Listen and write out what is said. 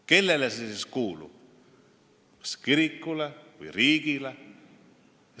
Kellele see siis kuulub, kas kirikule või riigile?